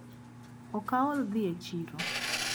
Okaol dhi e chiro.